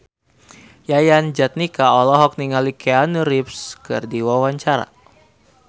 Yayan Jatnika olohok ningali Keanu Reeves keur diwawancara